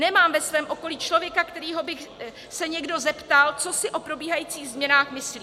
Nemám ve svém okolí člověka, kterého by se někdo zeptal, co si o probíhajících změnách myslí.